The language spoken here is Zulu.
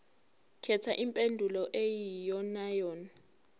khetha impendulo eyiyonayona